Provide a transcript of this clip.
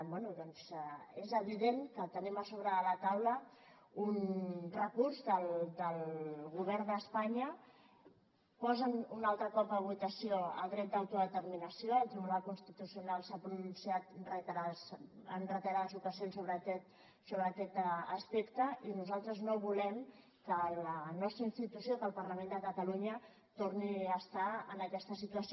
bé doncs és evident que tenim a sobre de la taula un recurs del govern d’espanya posen un altre cop a votació el dret d’autodeterminació el tribunal constitucional s’ha pronunciat en reiterades ocasions sobre aquest aspecte i nosaltres no volem que la nostra institució que el parlament de catalunya torni a estar en aquesta situació